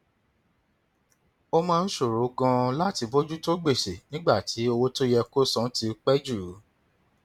ó máa ń ṣòro ganan láti bójú tó gbèsè nígbà tí owó tó yẹ kó san ti pẹ jù